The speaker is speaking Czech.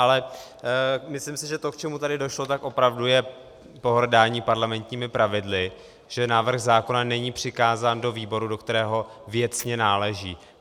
Ale myslím si, že to, k čemu tady došlo, tak opravdu je pohrdání parlamentními pravidly, že návrh zákona není přikázán do výboru, do kterého věcně náleží.